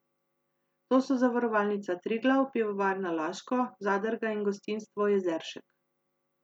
To so Zavarovalnica Triglav, Pivovarna Laško, Zadrga in gostinstvo Jezeršek.